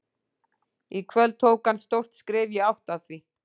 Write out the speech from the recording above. Í kvöld tók hann stórt skref í átt að því.